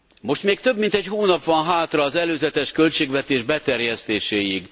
Most még több mint egy hónap van hátra az előzetes költségvetés beterjesztéséig.